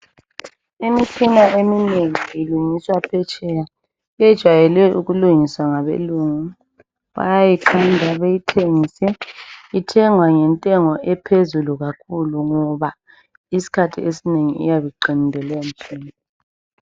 Imitshina eminengi Ilungiswa phetsheya .Yejayele ukulungiswa ngabelungu bayayikhanda beyithengise .Ithengwa ngentengo ephezulu kakhulu. Ngoba iskhathi esinengi iyabe iqinile leyo mtshina .